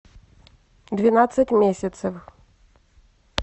двенадцать месяцев